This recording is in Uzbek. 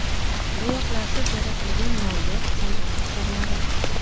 Bo‘yoqlarsiz yaratilgan noyob san’at asarlari.